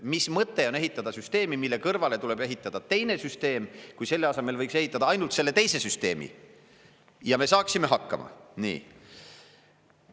Mis mõtet on ehitada süsteemi, mille kõrvale tuleb ehitada teine süsteem, kui selle asemel võiks ehitada ainult selle teise süsteemi ja me saaksime hakkama?